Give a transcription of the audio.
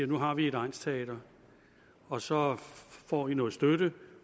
nu har vi et egnsteater og så får vi noget støtte